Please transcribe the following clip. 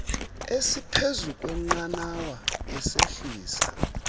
esiphezu kweqanawa esehlisa